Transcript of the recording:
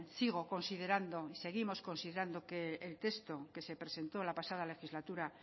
seguimos considerando que el texto que se presentó en la pasada legislatura